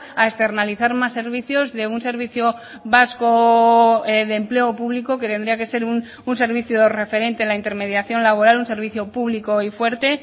a externalizar más servicios de un servicio vasco de empleo público que tendría que ser un servicio referente en la intermediación laboral un servicio público y fuerte